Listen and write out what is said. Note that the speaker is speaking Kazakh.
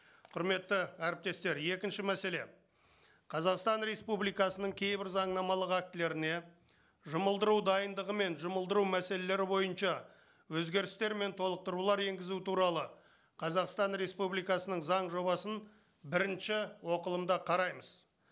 құрметті әріптестер екінші мәселе қазақстан республикасының кейбір заңнамалық актілеріне жұмылдыру дайындығы мен жұмылдыру мәселелері бойынша өзгерістер мен толықтырулар енгізу туралы қазақстан республикасының заң жобасын бірінші оқылымда қараймыз